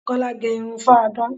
Kola gẹ irun fáadán